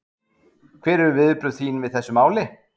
Ásgeir: Hver eru viðbrögð þín við þessu máli?